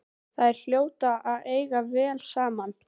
Þær hljóta að eiga vel saman.